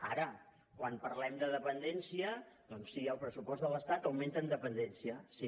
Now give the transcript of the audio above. ara quan parlem de dependència doncs sí el pressupost de l’estat augmenta en dependència sí